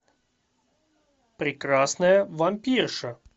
прекрасная вампирша